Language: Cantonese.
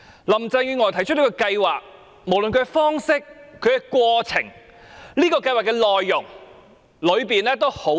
林鄭月娥提出這個計劃，無論方式、過程及內容都問題多多。